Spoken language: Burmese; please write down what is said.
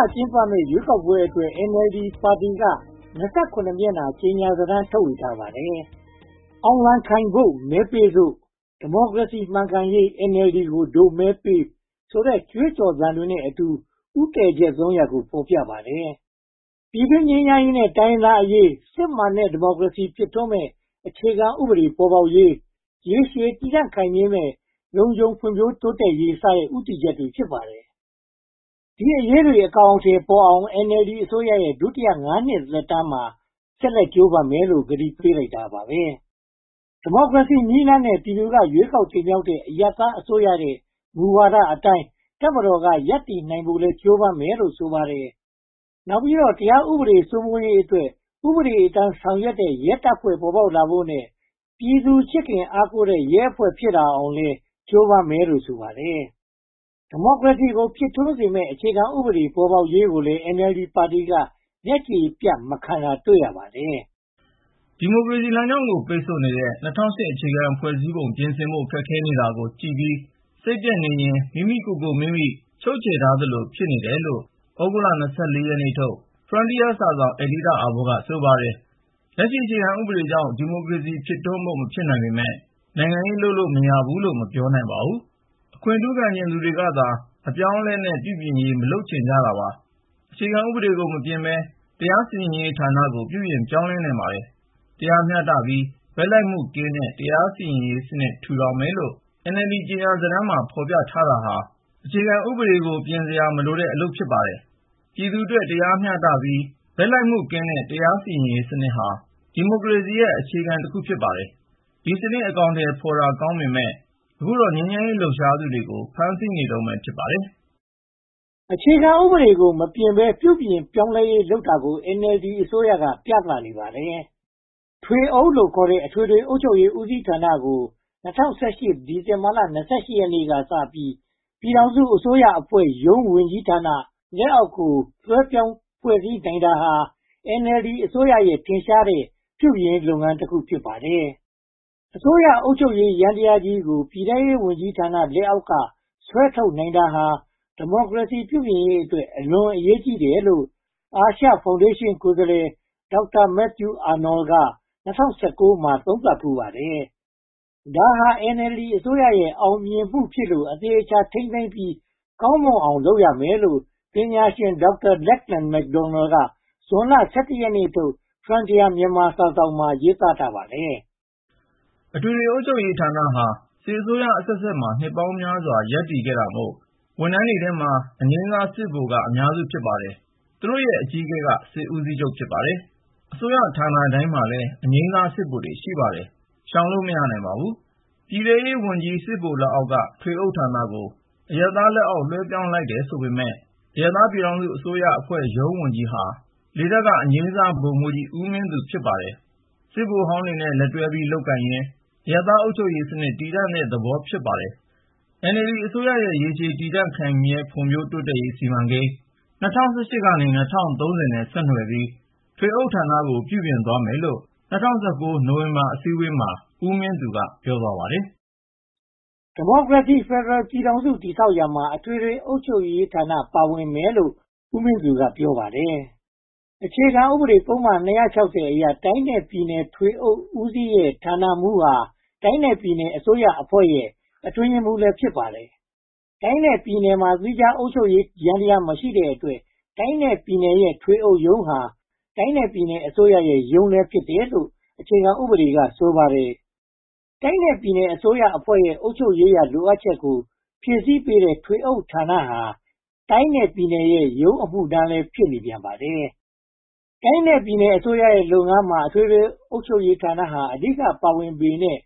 ာကျင်းပမယ့် ရွေးကောက်ပွဲအတွက် NLD ပါတီက (၂၇) မျက်နှာ ကြေညာစာတမ်းကို ထုတ်ဝေခဲ့ပါတယ်။ “အောင်လံခိုင်ဖို့ မဲပေးစို့”၊ “ဒီမိုကရေစီမှန်ကန်ရေး NLD ကို ဒို့မဲပေး” ဆိုတဲ့ ကြွေးကြော်သံတွေနဲ့အတူ ဦးတည်ချက် (၃) ရပ်ကို ဖော်ပြထားပါတယ်။ ပြည်တွင်းငြိမ်းချမ်းရေးနဲ့ တိုင်းရင်းသားအရေး၊ စစ်မှန်တဲ့ ဒီမိုကရေစီကို ဖြစ်ထွန်းစေမယ့် အခြေခံဥပဒေပေါ်ပေါက်ရေး၊ ရေရှည်တည်တံ့ခိုင်မြဲမယ့် လုံခြုံဖွံ့ဖြိုးတိုးတက်ရေး စတဲ့ ဦးတည်ချက်တွေ ဖြစ်ပါတယ်။ ဒီအရေးတွေ အကောင်အထည်ပေါ်အောင် NLD အစိုးရရဲ့ ဒုတိယ (၅) နှစ် သက်တမ်းမှာ ဆက်လက်ကြိုးပမ်းမယ်လို့ ဂတိပေးလိုက်တာပါ။ ဒီမိုကရေစီနည်းလမ်းနဲ့ ပြည်သူက ရွေးကောက်တင်မြှောက်ထားတဲ့ အရပ်သားအစိုးရရဲ့ မူဝါဒအတိုင်း တပ်မတော်က ရပ်တည်နိုင်ဖို့လည်း ကြိုးပမ်းမယ်လို့ ဆိုပါတယ်။ နောက်ပြီးတော့ တရားဥပဒေ စိုးမိုးရေးအတွက် ဥပဒေအတိုင်း ဆောင်ရွက်တဲ့ ရဲတပ်ဖွဲ့ ဖြစ်ပေါ်လာဖို့နဲ့ ပြည်သူချစ်ခင်အားကိုးတဲ့ ရဲအဖွဲ့ဖြစ်လာအောင်လည်း ကြိုးပမ်းမယ်လို့ ဆိုပါတယ်။ ဒီမိုကရေစီကို ဖြစ်ထွန်းစေမယ့် အခြေခံဥပဒေ ပေါ်ပေါက်လာရေးကိုလည်း NLD ပါတီက မျက်ခြေပြတ် မခံတာကိုလည်း တွေ့ရပါတယ်။ ဒီမိုကရေစီလမ်းကြောင်းကို ပိတ်ဆို့နေတဲ့ ၂၀၀၈ အခြေခံဥပဒေ ပြင်ဆင်ဖို့ ခက်ခဲနေတာကို ကြည့်ပြီးစိတ်ပျက်နေရင် မိမိကိုယ်မိမိ ချုပ်ချယ်ထားသလို ဖြစ်နေတယ်လို့ သြဂုတ်လ (၂၄) ရက်နေ့ထုတ် Frontier စာစောင် အယ်ဒီတာအာဘော်က ဆိုပါတယ်။ လက်ရှိအခြေခံဥပဒေအကြောင်း ဒီမိုကရေစီ ဖြစ်ထွန်းဖို့ မဖြစ်နိုင်ပေမယ့် နိုင်ငံရေးလုပ်လို့ မရဘူးလို့ မပြောနိုင်ပါဘူး။ အခွင့်ထူးခံချင်သူတွေကသာ အပြောင်းအလဲနဲ့ ပြုပြင်ရေး မလုပ်ချင်တာပါ။ အခြေခံဥ့ပဒေကို မပြင်ဘဲ၊ တရားစီရင်ရေးဌာနကို ပြုပြင်ပြောင်းလဲနိုင်ပါတယ်။ တရားမျှတပြီး ဘက်လိုက်မှုကင်းတဲ့ တရားစီရင်ရေးစနစ် ထူထောင်မယ်လို့ NLD ကြေညာစာတမ်းမှာ ဖော်ပြထားတာဟာ အခြေခံဥပဒေကို ပြင်စရာမလိုတဲ့ အလုပ်ပါ။ ပြည်သူ့အတွက် တရားမျှတပြီး ဘက်လိုက်မှုကင်းတဲ့ တရားစီရင်ရေးစနစ်ဟာ ဒီမိုကရေစီရဲ့ အခြေခံတစ်ခု ဖြစ်ပါတယ်။ ဒီစနစ် အကောင်အထည်ဖော်တာ အလွန်ကောင်းပေမယ့် အခုတော့ ငြိမ်းချမ်းစွာ လှုပ်ရှားသူတွေကို ဖမ်းဆီးနေတုန်း ဖြစ်ပါတယ်။ အခြေခံဥပဒေကို မပြင်ဘဲ ပြုပြင်ပြောင်းလဲရေး လုပ်နိုင်တာကို NLD အစိုးရက ပြသနေပါတယ်။ ထွေးအုပ်လို့ခေါ်တဲ့ အထွေထွေအုပ်ချုပ်ရေးဦးစီးဌာနကို ၂၀၁၈ ခုနှစ် ဒီဇင်ဘာလ (၂၈) ရက်နေ့ကစပြီး ပြည်ထောင်စုအစိုးရအဖွဲ့ ဝန်ကြီးဌာန လက်အောက်ကို လွှဲပြောင်းဖွဲ့စည်းနိုင်တာဟာ NLD အစိုးရရဲ့ ထင်ရှားတဲ့ ပြုပြင်ရေးလုပ်ငန်းတခု ဖြစ်ပါတယ်။ အစိုးရအုပ်ချုပ်ရေး ယန္တရားကြီးကို ပြည်ထဲရေးဝန်ကြီးဌာန လက်အောက်က ဆွဲထုတ်နိုင်တာဟာ ဒီမိုကရေစီ ပြုပြင်ရေးအတွက် အလွန်အရေးကြီးတယ်လို့ အာရှဖောင်ဒေးရှင်း ကိုယ်စားလှယ် Dr. Matthew Arnold က ၂၀၁၉ မှာ သုံးသပ်ဖူးပါတယ်။ ဒါဟာ NLD အစိုးရရဲ့ အောင်မြင်မှုဖြစ်လို့ အသေအချာ ထိန်းသိမ်းပြီး ကောင်းမွန်အောင်လုပ်မယ်လို့ ပညာရှင် Dr.Lachlan McDonald က ဇွန်လ (၁၁) ရက်နေ့ထုတ် Frontier Myanmar စာစောင်မှာ ရေးသားထားပါတယ်။ အထွေထွေအုပ်ချုပ်ရေးဌာနဟာ စစ်အစိုးရအဆက်ဆက်မှာ နှစ်ပေါင်းများစွာ ရပ်တည်ခဲ့တာမို့ အရာထမ်းထဲမှာ အငြိမ်းစာစစ်ဗိုလ်က အများစု ဖြစ်ပါတယ်။ သူတို့ရဲ့ အကြီးအကဲဟာ စစ်ဦးစီးချုပ်ပါ။ အစိုးရဌာနတိုင်းမှာ အငြိမ်စားစစ်ဗိုလ် ရှိပါတယ်။ ရှောင်လို့မရပါဘူး။ ပြည်ထဲရေးဝန်ကြီး စစ်ဗိုလ်လက်အောက်က ထွေအုပ်ဌာနကို အရပ်သားလက်အောက် လွှဲပြောင်းလိုက်တယ်ဆိုပေမယ့် အရပ်သား ပြည်ထောင်စုအစိုးရအဖွဲ့ရုံးဝန်ကြီးဟာ လေတပ်က အငြိမ်းစားဗိုလ်မှူးကြီး ဦးမင်းသူ ဖြစ်နေပါတယ်။ စစ်ဗိုလ်ဟောင်းတွေနဲ့ လက်တွဲပြီး လုပ်ကိုင်ရင်း အရပ်သားအုပ်ချုပ်ရေးစနစ် တည်ဆောက်တဲ့သဘော ဖြစ်ပါတယ်။ NLD အစိုးရရဲ့ ရေရှည်တည်တံ့ခိုင်မြဲ ဖွံ့ဖြိုးတိုးတက်ရေးစီမံကိန်း (၂၀၁၈-၂၀၃၀) နဲ့ ဆက်နွယ်ပြီး ထွေအုပ်ဌာနကို ပြုပြင်သွားမယ်လို့ ၂၀၁၉ နိုဝင်ဘာလ အစည်းအဝေးမှာ ဦးမင်းသူက ပြောသွားပါတယ်။ ဒီမိုကရေစီဖယ်ဒရယ် ပြည်ထောင်စု တည်ဆောက်ရာမှာ အထွေထွေအုပ်ချုပ်ရေးဌာန ပါဝင်မယ်လို့လည်း ဦးမင်းသူက ပြောပါတယ်။ အခြေခံဥပဒေပုဒ်မ (၂၆၀) အရ တိုင်းနဲ့ပြည်နယ် ထွေအုပ်ဦးစီးရဲ့ ဌာနမှူးဟာ တိုင်းနဲ့ပြည်နယ်အစိုးရအဖွဲ့ရဲ့ အတွင်းရေးမှူးလည်း ဖြစ်ပါတယ်။ တိုင်းနဲ့ပြည်နယ်မှာ သီးခြားအုပ်ချုပ်ရေးယန္တရား မရှိတဲ့အတွက် တိုင်းနဲ့ပြည်နယ်ရဲ့ ထွေအုပ်ရုံးဟာ တိုင်းနဲ့ပြည်နယ်အစိုးရရုံးလည်း ဖြစ်တယ်လို့ အခြေခံဥပဒေက ဆိုပါတယ်။ တိုင်းနဲ့ပြည်နယ်အစိုးရအဖွဲ့ရဲ့ အုပ်ချုပ်ရေးရာ လိုအပ်ချက်ကို ဖြည့်ဆည်းပေးတဲ့ ထွေးအုပ်ဌာနဟာ တိုင်းနဲ့ပြည်နယ်ရဲ့ ရုံးအမှုထမ်းလည်း ဖြစ်နေပြန်ပါတယ်။ တိုင်းနဲ့ပြည်နယ်အစိုးရရဲ့လုပ်ငန်းမှာ အထွေထွေအုပ်ချုပ်ရေးဌာနဟာ အဓိက ပါဝင်ပေမယ့်